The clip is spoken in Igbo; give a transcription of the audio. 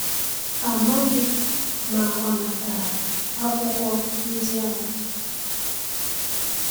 A maghị ma ọ natara akwụkwọ ndị ahụ.